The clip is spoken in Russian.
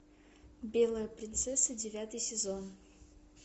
белая принцесса девятый сезон